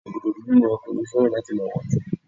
sòkòtò dúdú ni okunrin fẹràn láti ma wọ̀jù